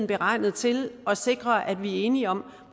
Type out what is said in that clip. beregnet til at sikre at vi er enige om